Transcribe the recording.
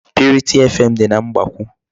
Purity FM dị na Mgbakwụ.